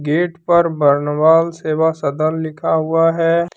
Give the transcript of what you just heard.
Gate पर बरनवाल सेवा सदन लिखा हुआ है।